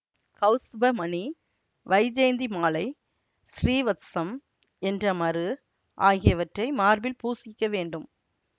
கௌஸ்துபமணி வைஜயந்தி மாலை ஸ்ரீவத்சம் என்ற மரு ஆகியவற்றை மார்பில் பூசிக்க வேண்டும்